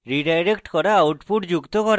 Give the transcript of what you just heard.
redirect করা output যুক্ত করা